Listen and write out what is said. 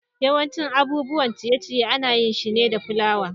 yawancin abubuwan ciye-ciye ana yin shi ne fulawa.